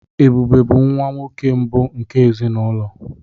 Ebube bụ nwa nwoke mbụ nke ezinụlọ.